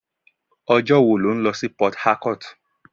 Ọjọ́ wo lò ń lọ sí Port-harcourt?